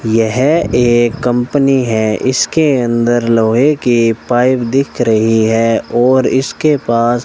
यह एक कंपनी है इसके अंदर लोहे की पाइप दिख रही है और इसके पास --